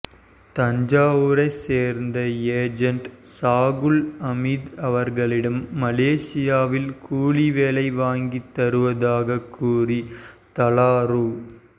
தஞ்சாவூரை சேர்ந்த ஏஜெண்ட் சாகுல் அமீது அவர்களிடம் மலேசியாவில் கூலி வேலை வாங்கித் தருவதாக கூறி தலா ரூ